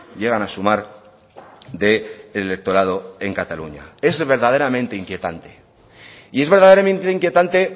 llegan a sumar de electorado en cataluña es verdaderamente inquietante y es verdaderamente inquietante